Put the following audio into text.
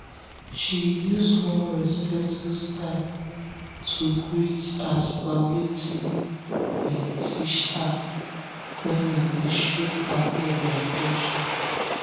she use one respectful style to greet as per wetin um dem teach her when dem dey show um her their um culture.